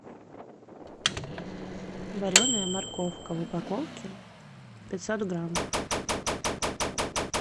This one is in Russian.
вареная морковка в упаковке пятьсот грамм